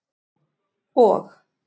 og